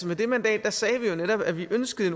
med det mandat sagde vi jo at vi ønskede